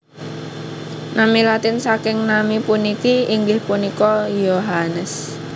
Nami Latin saking nami puniki inggih punika Iohannes